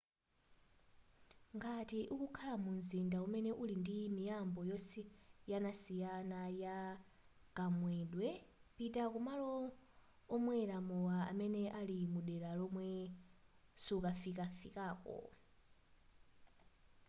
ngati ukukhala mu mzinda umene uli ndi miyambo yosiyanasiyana ya kamwedwe pita kumalo omwela mowa amene ali mudela lomwe sufikafikako